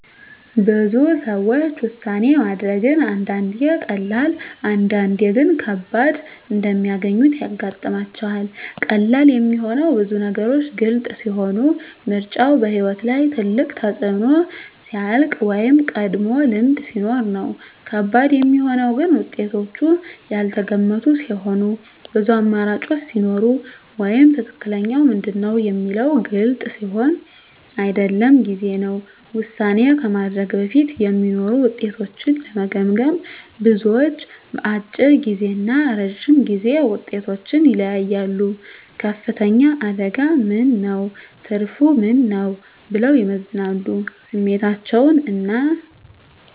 ብዙ ሰዎች ውሳኔ ማድረግን አንዳንዴ ቀላል፣ አንዳንዴ ግን ከባድ እንደሚያገኙት ያጋጥማቸዋል። ቀላል የሚሆነው ብዙ ነገሮች ግልጽ ሲሆኑ፣ ምርጫው በሕይወት ላይ ትልቅ ተፅዕኖ ሲያልቅ ወይም ቀድሞ ልምድ ሲኖር ነው። ከባድ የሚሆነው ግን ውጤቶቹ ያልተገመቱ ሲሆኑ፣ ብዙ አማራጮች ሲኖሩ ወይም “ትክክለኛው ምንድን ነው?” የሚለው ግልጽ ሲሆን አይደለም ጊዜ ነው። ውሳኔ ከማድረግ በፊት የሚኖሩ ውጤቶችን ለመገመገም፣ ብዙዎች፦ አጭር ጊዜ እና ረጅም ጊዜ ውጤቶችን ይለያያሉ “ከፍተኛ አደጋ ምን ነው? ትርፉ ምን ነው?” ብለው ይመዝናሉ ስሜታቸውን እና